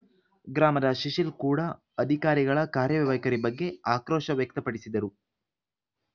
ಗ್ರಾಮದ ಶಿಶಿಲ್‌ ಕೂಡ ಅಧಿಕಾರಿಗಳ ಕಾರ್ಯವೈಖರಿ ಬಗ್ಗೆ ಆಕ್ರೋಶ ವ್ಯಕ್ತಪಡಿಸಿದರು